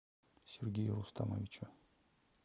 сергею рустамовичу